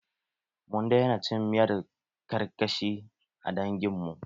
Mun daina cin miyar karkashi a dangin mu.